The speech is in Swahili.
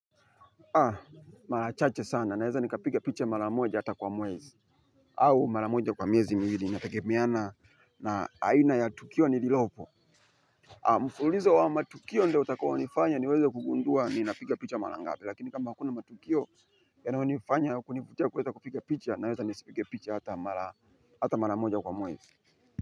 Haa mara chache sana naweza nikapiga picha mara moja hata kwa mwezi au mara moja kwa miezi miwili inategemeana na aina ya tukio nililopo mfululizo wa matukio ndio utakayonifanya niweze kugundua ninapiga picha mara ngapi lakini kama hakuna matukio yanayonifanya kunivutia niweze kupiga picha naweza kupiga picha hata mara hata mara moja kwa mwezi.